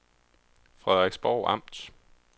Frederiksborg Amt